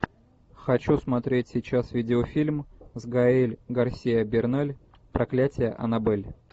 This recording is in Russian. хочу смотреть сейчас видеофильм с гаэль гарсиа берналь проклятие аннабель